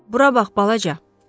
Bura bax, balaca!